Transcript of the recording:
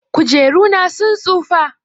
Kujeru na sun tsufa.